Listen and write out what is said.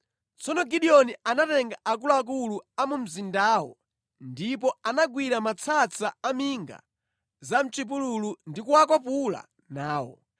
Tsono Gideoni anatenga akuluakulu a mu mzindawo ndipo anagwira matsatsa a minga za mʼchipululu ndi kuwakwapula nawo.